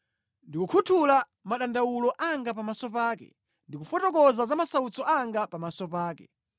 Ndikukhuthula madandawulo anga pamaso pake; ndikufotokoza za masautso anga pamaso pake.